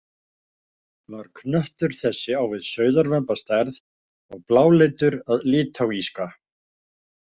Var knöttur þessi á við sauðarvömb að stærð og bláleitur að litáíska.